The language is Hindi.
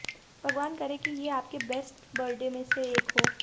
भगवान करे कि ये आपके बेस्ट बर्थडे में से एक हो